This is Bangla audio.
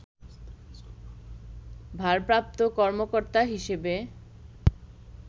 ভারপ্রাপ্ত কর্মকর্তা হিসেবে